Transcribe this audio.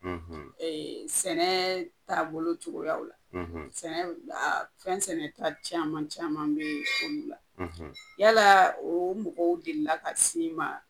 E sɛnɛ taabolocogoya la sɛnɛ fɛn sɛnɛta caman caman be olu la yala o mɔgɔw delila ka s'i ma